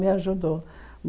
Me ajudou.